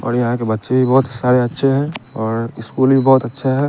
और यहाँ के बच्चे भी बहोत साड़े अच्छे है और स्कूल भी बहोत अच्छा है।